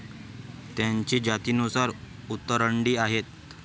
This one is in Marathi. त्यांची जातीनुसार उतरंडी आहे.